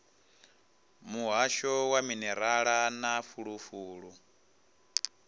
muhasho wa minerala na fulufulu